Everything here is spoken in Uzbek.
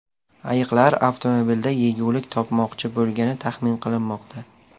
Ayiqlar avtomobilda yegulik topmoqchi bo‘lgani taxmin qilinmoqda.